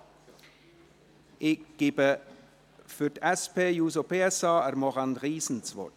Ich gebe Maurane Riesen für die SP-JUSO-PSA-Fraktion das Wort.